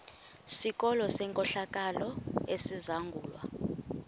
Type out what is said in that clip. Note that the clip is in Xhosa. sikolo senkohlakalo esizangulwa